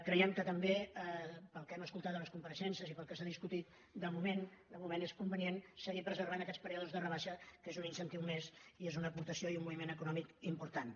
creiem que també pel que hem escoltat a les compareixences i pel que s’ha discutit de moment és convenient seguir preservant aquests períodes de rebaixa que són un incentiu més i són una aportació i un moviment econòmic importants